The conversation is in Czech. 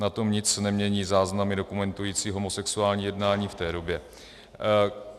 Na tom nic nemění záznamy dokumentující homosexuální jednání v té době.